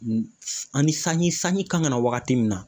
Ani sanji sanji kan ka na wagati min na